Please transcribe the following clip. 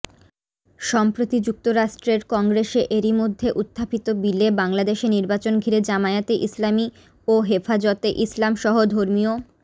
সম্প্রতি যুক্তরাষ্ট্রের কংগ্রেসে এরইমধ্যে উত্থাপিত বিলে বাংলাদেশে নির্বাচন ঘিরে জামায়াতে ইসলামী ও হেফাজতে ইসলামসহ ধর্মীয়